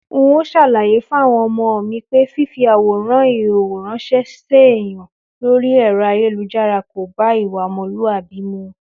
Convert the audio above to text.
N óò s̩àlàyé fáwo̩n o̩mo̩ mi pé fífi àwòrán ìhòhò ráns̩é̩ séèyàn lórí è̩ro̩ ayélujára kò bá ìwà o̩mo̩lúàbí mu